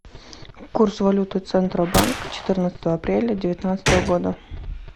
курс валюты центробанк четырнадцатого апреля девятнадцатого года